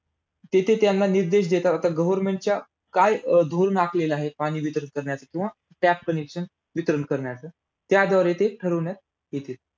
तिथे त्यांना निर्देश देतात. आता government च्या काय धोरण आखलेलं आहे पाणी वितरित करण्याचं किंवा tap connection वितरण करण्याचं त्याद्वारे ते ठरवण्यात येत.